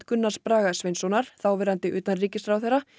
Gunnars Braga Sveinssonar þáverandi utanríkisráðherra